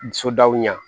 Sodaw ɲɛ